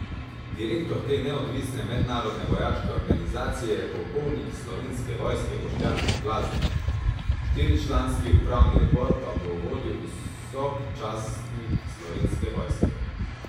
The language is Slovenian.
Direktor te neodvisne mednarodne vojaške organizacije je polkovnik Slovenske vojske Boštjan Blaznik, štiričlanski upravni odbor pa bo vodil visok častnik Slovenske vojske.